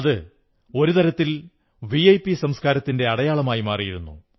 അതൊരു തരത്തിൽ വിഐപി സംസ്കാരത്തിന്റെ അടയാളമായി മാറിയിരുന്നു